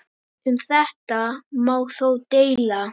Um þetta má þó deila.